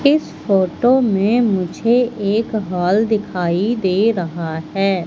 इस फोटो में मुझे एक हॉल दिखाई दे रहा है।